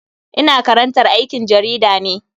Ina karantar aikin jarida ne.